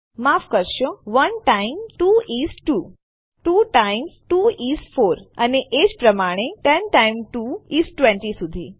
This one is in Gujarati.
માફ કરશો 1 ટાઇમ્સ 2 ઇસ 2 2 ટાઇમ્સ 2 ઇસ 4 એ જ પ્રમાણે 10 ટાઇમ્સ 2 ઇસ 20 સુધી